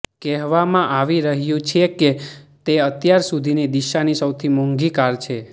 કહેવામાં આવી રહ્યું છે કે તે અત્યાર સુધીની દિશાની સૌથી મોંઘી કાર છે